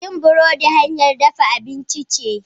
yin burodi hanyar dafa abinci ce